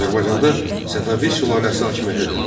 Azərbaycanda Səfəvi sülaləsi hakimiyyətə gəldi.